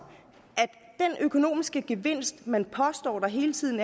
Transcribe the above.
at den økonomiske gevinst man hele tiden